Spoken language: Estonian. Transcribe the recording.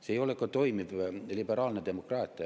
See ei ole ka toimiv liberaalne demokraatia.